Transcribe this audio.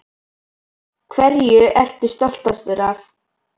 Hverju ertu stoltastur af?